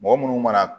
Mɔgɔ munnu mana